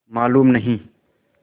मालूम नहीं